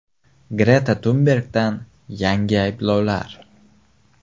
Greta Tunbergdan yangi ayblovlar.